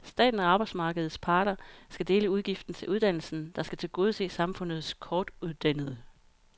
Staten og arbejdsmarkedets parter skal dele udgiften til uddannelsen, der skal tilgodese samfundets kortuddannede.